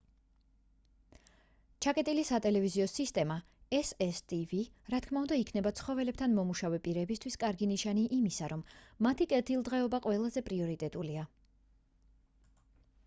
ჩაკეტილი სატელევიზიო სისტემა cctv რა თქმა უნდა იქნება ცხოველებთან მომუშავე პირებისთვის კარგი ნიშანი იმისა რომ მათი კეთილდღეობა ყველაზე პრიორიტეტულია.